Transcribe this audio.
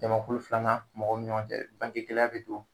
Jamakulu filanan mɔgɔw ni ɲɔgɔn cɛ bangegɛlɛya bɛ don